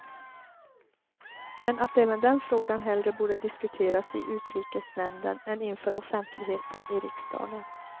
Men att även den frågan hellre borde diskuteras i utrikesnämnden än inför offentligheten i riksdagen.